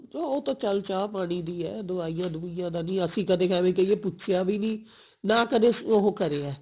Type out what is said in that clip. ਉਹ ਤਾਂ ਚਲ ਚਾਹ ਪਾਣੀ ਦੀ ਹੈ ਦਵਾਈਆਂ ਦਵੁਈਆਂ ਦੀ ਨਹੀਂ ਅਸੀਂ ਕਦੇ ਐਵੇਂ ਕਹਿਏ ਪੁੱਛਿਆ ਵੀ ਨਹੀਂ ਨਾ ਕਦੇ ਉਹ ਕਰਿਆ